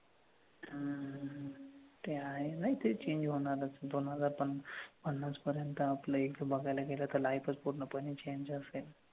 ते आहे. नाही ते change त्याची होणारच. दोन हजार पन्ना पन्नास पर्यंत आपल इथं बघायला गेलं तर life च पूर्णपणे change असेल.